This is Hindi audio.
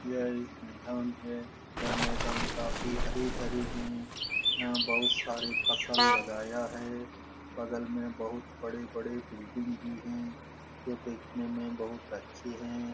यह एक मैदान है। यह मैदान काफी हरे-भरे हैं। यहाँ बहुत सारे फसल लगाया है। बगल में बहुत बड़े-बड़े बिल्डिंग भी हैं जो देखने में बहुत अच्छे हैं।